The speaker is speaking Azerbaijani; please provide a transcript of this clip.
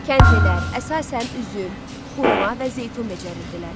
Kəndlilər əsasən üzüm, xurma və zeytun becərərdilər.